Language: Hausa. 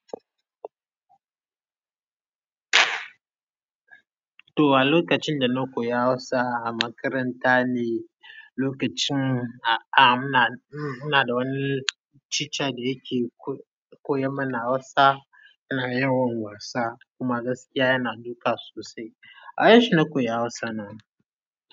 To a lokacin da na koya Hausa a makaranta ne, lokacin a-a muna, mm muna da wani teacher da yake ko-koya mana Hausa. Muna yawan wasa kuma gaskiya yana duka sosai. Awajenshi na koyi Hausa na.